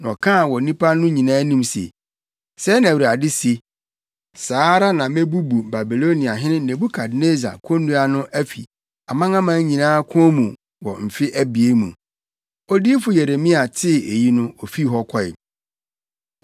na ɔkaa wɔ nnipa no nyinaa anim se, “Sɛɛ na Awurade se: ‘Saa ara na mebubu Babiloniahene Nebukadnessar konnua no afi amanaman nyinaa kɔn mu wɔ mfe abien mu.’ ” Odiyifo Yeremia tee eyi no ofii hɔ kɔe.